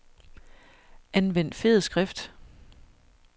Anvend fed skrift.